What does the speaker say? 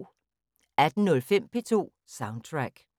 18:05: P2 Soundtrack